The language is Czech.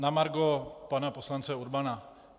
Na margo pana poslance Urbana.